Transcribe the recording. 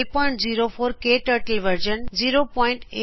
K turtle version 081 beta Ubuntu Linux OS ਵਰਜ਼ਨ1204